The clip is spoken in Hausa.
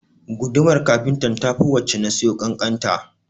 Gudumar kafintan ta fi wacce na siyo ƙanƙanta